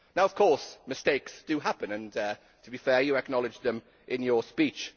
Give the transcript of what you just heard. Of course mistakes do happen and, to be fair, you acknowledged them in your speech.